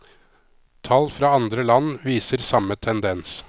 Tall fra andre land viser samme tendens.